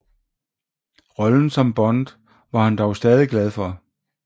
Rollen som Bond var han dog stadig glad for